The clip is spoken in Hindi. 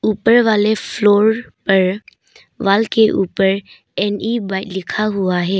ऊपर वाले फ्लोर पर वॉल के ऊपर एन ई बाइट लिखा हुआ है।